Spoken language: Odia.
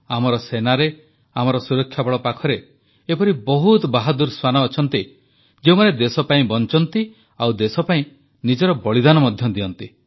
ଆମର ସେନାରେ ଆମର ସୁରକ୍ଷାବଳ ପାଖରେ ଏପରି ବହୁତ ବାହାଦୂର ଶ୍ୱାନ ଅଛନ୍ତି ଯେଉଁମାନେ ଦେଶପାଇଁ ବଂଚନ୍ତି ଓ ଦେଶପାଇଁ ନିଜର ବଳିଦାନ ମଧ୍ୟ ଦିଅନ୍ତି